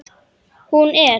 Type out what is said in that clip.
Hún er.